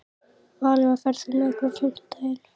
Valería, ferð þú með okkur á fimmtudaginn?